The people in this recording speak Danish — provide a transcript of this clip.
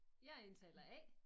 Jeg er indtaler A